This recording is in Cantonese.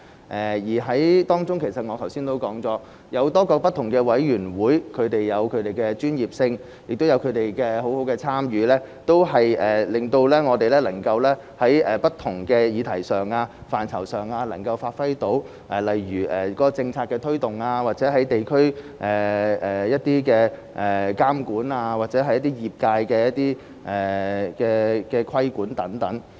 正如我剛才所說，政府有很多不同委員會，而委員會各有其專業性，而委員亦積極參與，令政府能夠在不同的議題上和範疇內發揮職能，例如政策的推動、地區監管及對業界的規管等。